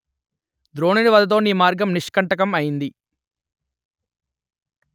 ద్రోణుని వధతో నీ మార్గం నిష్కంటకం అయింది